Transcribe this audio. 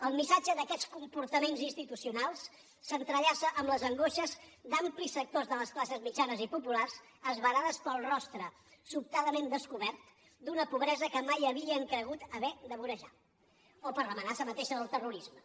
el missatge d’aquests comportaments institucionals s’entrellaça amb les angoixes d’amplis sectors de les classes mitjanes i populars esverades pel rostre sobtadament descobert d’una pobresa que mai havien cregut haver de vorejar o per l’amenaça mateixa del terrorisme